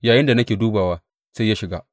Yayinda nake dubawa, sai ya shiga.